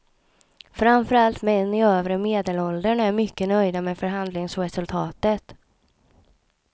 Framför allt män i övre medelåldern är mycket nöjda med förhandlingsresultatet.